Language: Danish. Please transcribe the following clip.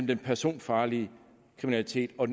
den personfarlige kriminalitet og